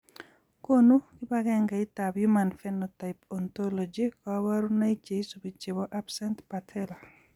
Konu kibagengeitab human phenotype ontology kaborunoik cheisubi chebo absent patella?